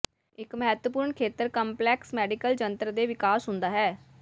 ਇੱਕ ਮਹੱਤਵਪੂਰਨ ਖੇਤਰ ਕੰਪਲੈਕਸ ਮੈਡੀਕਲ ਜੰਤਰ ਦੇ ਵਿਕਾਸ ਹੁੰਦਾ ਹੈ